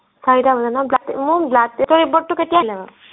চাৰিটা বজাত ন মোৰ blood test ৰ report টো কেতিয়া দিব